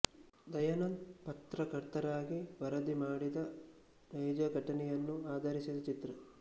ದಯಾನಂದ್ ಪತ್ರಕರ್ತರಾಗಿ ವರದಿ ಮಾಡಿದ ನೈಜ ಘಟನೆಯನ್ನು ಆಧರಿಸಿದ ಚಿತ್ರ